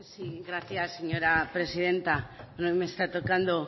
sí gracias señora presidenta no me está tocando